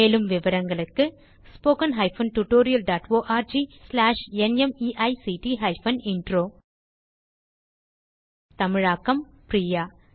மேலும் விவரங்களுக்கு spoken hyphen tutorial dot org slash NMEICT hyphen intro தமிழாக்கம் பிரியா